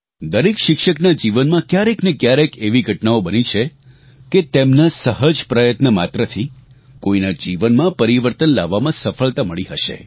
દરેક શિક્ષકના જીવનમાં ક્યારેકનેક્યારેક એવી ઘટનાઓ બની છે કે તેમના સહજ પ્રયત્ન માત્રથી કોઇના જીવનમાં પરિવર્તન લાવવામાં સફળતા મળી હશે